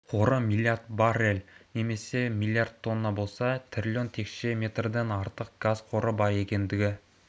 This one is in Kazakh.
қоры мрлд баррель немесе млрд тонна болса трлн текше метрден артық газ қоры бар екендігі